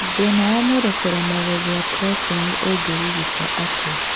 Thĩna wa mwĩrĩ kũremwo gũthĩa proteini ũngĩrigitwo atĩa